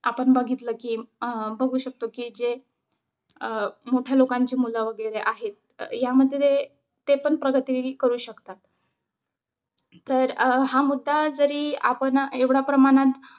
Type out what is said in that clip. आपण बघितलं कि अं बघू शकतो कि जे अं मोठ्या लोकांचे मुलं वगैरे आहेत. यामध्ये ते ते पण प्रगती करू शकतात. तर हा मुद्दा जरी आपण एवढ्या प्रमाणात